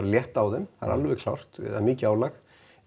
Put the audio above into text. létta á þeim það er alveg klárt það er mikið álag